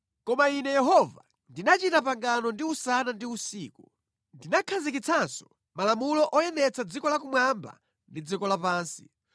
‘Koma Ine Yehova ndinachita pangano ndi usana ndi usiku. Ndinakhazikitsanso malamulo oyendetsa dziko lakumwamba ndi dziko lapansi,